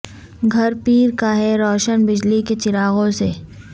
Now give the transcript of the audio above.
گھر پیر کا ہے روشن بجلی کے چراغوں سے